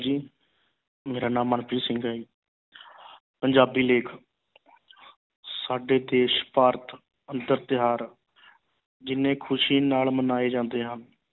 ਜੀ ਮੇਰਾ ਨਾਮ ਮਨਪ੍ਰੀਤ ਸਿੰਘ ਹੈ ਜੀ ਪੰਜਾਬੀ ਲੇਖ ਸਾਡੇ ਦੇਸ਼ ਭਾਰਤ ਅੰਦਰ ਤਿਉਹਾਰ ਜਿੰਨੇ ਖੁਸ਼ੀ ਨਾਲ ਮਨਾਏ ਜਾਂਦੇ ਹਨ